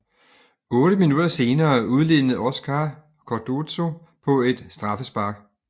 Otte minutter senere udlignede Óscar Cardozo på et straffespark